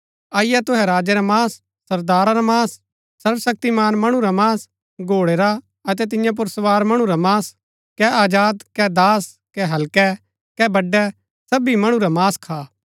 अईआ अतै तुहै राजै रा मांस सरदारा रा मांस शक्तिमान मणु रा मांस घोड़ै रा अतै तियां पुर सवार मणु रा मांस कै आजाद कै दास कै हल्कै कै बड़ै सबी मणु रा मांस खा